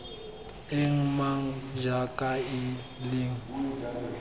eng mang jang kae leng